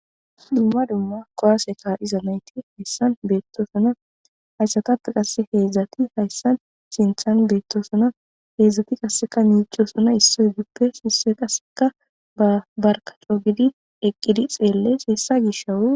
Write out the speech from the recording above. Dumma dumma kuwase ka'iza nayti haysan beetosoona. Ha izatappe qassi heezati haysan sinthan beetosoona. Heezati qassika miiccosona. Issotuppe issoyi qassika ba barka coo giddi eqqidi tseelle issa gishawu.